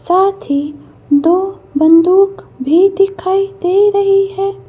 साथ ही दो बंदूक भी दिखाई दे रही है।